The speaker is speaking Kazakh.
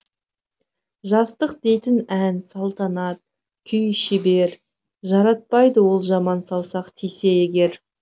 жастық дейтін ән салтанат күй шебер жаратпайды ол жаман саусақ тисе егер